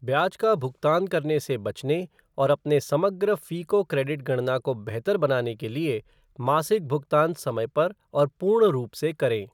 ब्याज का भुगतान करने से बचने और अपने समग्र फ़ीको क्रेडिट गणना को बेहतर बनाने के लिए, मासिक भुगतान समय पर और पूर्ण रूप से करें।